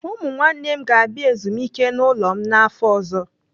Ụmụ nwanne m ga-abịa ezumike n'ụlọ m n'afọ ọzọ.